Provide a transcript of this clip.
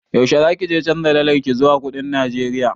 Yaushe za kije canja dalarki zuwa kuɗin Najeriya?